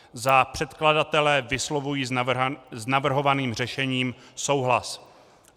Za předkladatele vyslovuji s navrhovaným řešením souhlas.